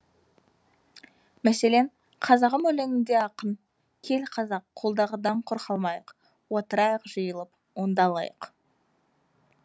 мәселен қазағым өлеңінде ақын кел қазақ қолдағыдан құр қалмайық отырайық жиылып ондалайық